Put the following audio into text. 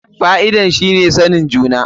Fa'idar shi ne sanin juna.